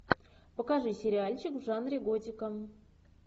покажи сериальчик в жанре готика